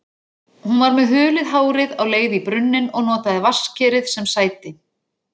Hún var með hulið hárið á leið í brunninn og notaði vatnskerið sem sæti.